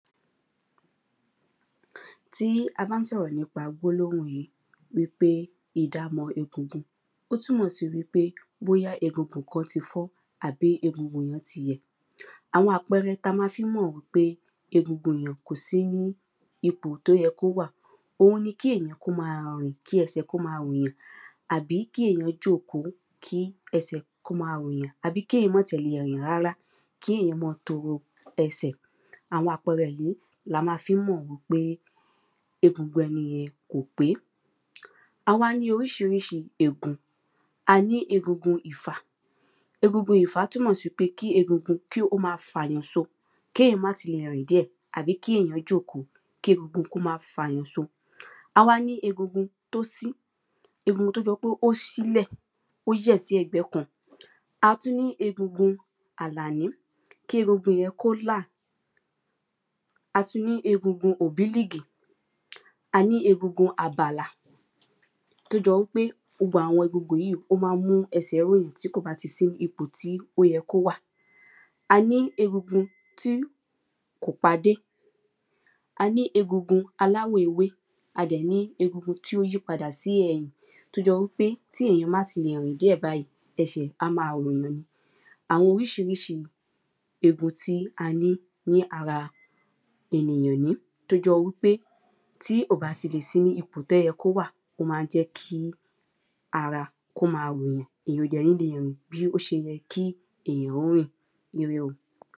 tí a bá ń sọ̀rọ̀ nípa gbólóhùn yìí wípé ìdamọ̀ egungun ó túmọ̀ sí wípé bóyá egungun kan ti fọ àbí egungun yẹn ti yẹ̀ àwọn àpẹẹrẹ ta ma fí ń mọ̀ í pé egungun èyàn kò sí ní ipòi tó yẹ kó wà oun ni kí ènìyàn kí ó máa rìn kí ẹsẹ̀ kó máa ròyàn àbí kí èyàn jòkó kí ẹsẹ̀ kó máa ròyàn àbí kí èyàn mọ́ tiẹ̀ le rìn rárá kí èyàn mọ́ ọn toro ẹsẹ̀ àwọn àpẹẹrẹ yìí la má fi ń mọ̀ wípé egun ẹni yẹn kò pé a wá ní oríṣiríṣi egun, a ní egungun ìfà túmọ̀ sí pé kí egun kí ó máa fàyàn so kéèyàn má ti le rìn díẹ̀ àbí kí èyàn jòkó kí egungun kó máa fàyàn so a wá ní egungun tó sí, egungun tó jọ pé ó sí sílẹ̀, ó yẹ̀ sí ẹ̀gbẹ́ kan a tún ní egungun àlàní, kí egungun kó là a tún ní egungun òbílìgì, a ní egungun àbàlà tó jọ wípé gbogbo àwọn egungun yìí ó máa ń mú ẹsẹ̀ ròyàn tí kò bá ti sí ipò tí ó yẹ kó wà a ní egungun tí kò padé, a ní egungun aláwọ̀ ewé a dẹ̀ ní egungun tí ó yí padà sí ẹ̀yìn, tó jọ wípé tí èèyàn má ti le rìn díẹ̀ báyìí, ẹsẹ̀ á máa ròyàn ni àwọn oríṣiríṣi egun tí a ní ní ara ènìyàn nìí tó jọ wípé tí ò bá ti le sí ní ipò tó yẹ kó wà o má n jẹ́ kí ara kó máa ròyàn, èyàn ò dẹ̀ ní le rìn bí ó ṣe yẹ kí èyàn ó rìn